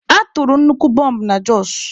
A tụrụ nnukwu bọmbụ na Jos.